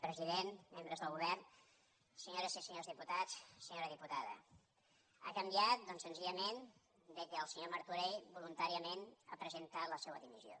president membres del govern senyores i senyors diputats senyora diputada ha canviat doncs senzillament que el senyor martorell voluntàriament ha presentat la seva dimissió